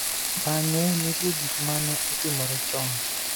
Bang�e, nitie gik ma ne otimore chon.